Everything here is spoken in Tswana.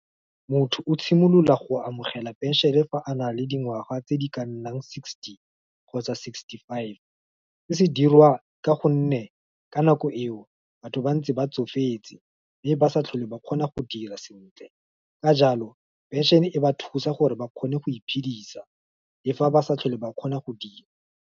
Motho o tshimolola go amogela pension-e fa a na le dingwaga tse di ka nnang sixty, kgotsa sixty-five, se se dirwa ka gonne, ka nako eo, batho ba ntse ba tsofetse, mme ba sa tlhole ba kgona go dira sentle, ka jalo, pension, e ba thusa gore ba kgone go iphedisa, le fa ba sa tlhole ba kgona go dira.